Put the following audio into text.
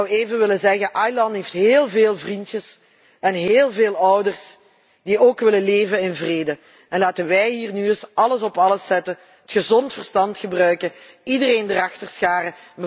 Ik zou even willen zeggen Aylan heeft heel veel vriendjes en heel veel ouders die ook in vrede willen leven. Laten wij hier nu eens alles op alles zetten, het gezond verstand gebruiken, iedereen erachter scharen.